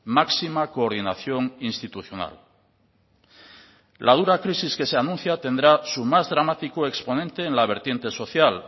máxima coordinación institucional la dura crisis que se anuncia tendrá su más dramático exponente en la vertiente social